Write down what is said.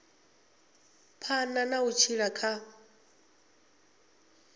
phanḓa na u tshila kha